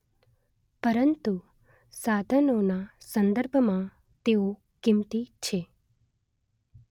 પરંતુ સાધનોના સંદર્ભમાં તેઓ કિંમતી છે